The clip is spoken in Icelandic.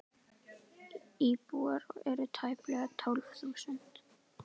Íbúar eru tæplega tólf þúsund.